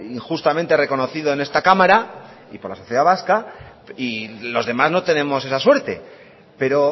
injustamente reconocido en esta cámara y por la sociedad vasca y los demás no tenemos esa suerte pero